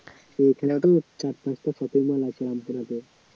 এখানেও চার পাঁচটা shopping mall আছে